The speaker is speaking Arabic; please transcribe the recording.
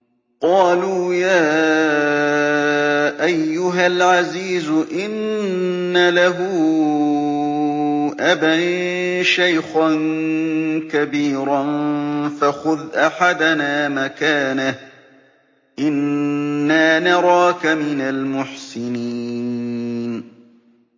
قَالُوا يَا أَيُّهَا الْعَزِيزُ إِنَّ لَهُ أَبًا شَيْخًا كَبِيرًا فَخُذْ أَحَدَنَا مَكَانَهُ ۖ إِنَّا نَرَاكَ مِنَ الْمُحْسِنِينَ